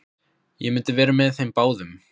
Ég myndi vera með þeim báðum!